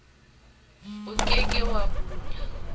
o ke ke wa hula